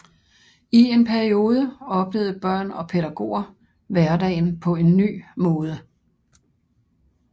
I en periode oplevede børn og pædagoger hverdagen på en ny måde